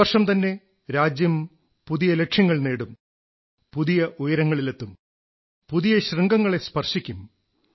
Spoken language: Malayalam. ഈ വർഷംതന്നെ രാജ്യം പുതിയ ലക്ഷ്യങ്ങൾ നേടും പുതിയ ഉയരങ്ങളിലെത്തും പുതിയ ശൃംഗങ്ങളെ സ്പർശിക്കും